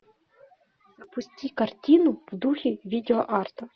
запусти картину в духе видеоарта